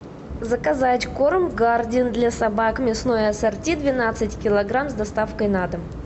заказать корм гардин для собак мясное ассорти двенадцать килограмм с доставкой на дом